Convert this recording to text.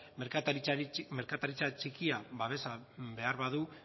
merkataritza txikia babesa behar badu